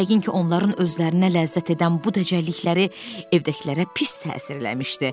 Yəqin ki, onların özlərinə ləzzət edən bu dəcəllikləri evdəkilərə pis təsir eləmişdi.